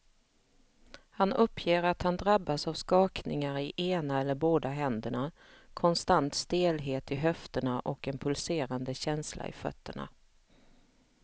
Han uppger att han drabbas av skakningar i ena eller båda händerna, konstant stelhet i höfterna och en pulserande känsla i fötterna.